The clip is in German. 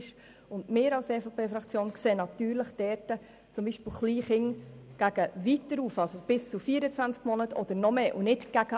Wir als EVP-Fraktion sehen dort beispielsweise Kleinkinder nach weiter oben, also bis zu 24 Monaten oder mehr und nicht nach unten.